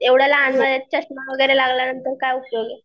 एव्हड्या लहान वयात चश्मा वगैरे लागल्या नंतर